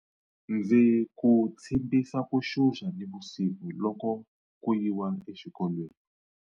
Ndzi ku tshimbisa ku xuxa nivusiku loko ku yiwa exikolweni.